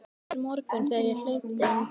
Miður morgunn þegar ég hleypi inn póstinum.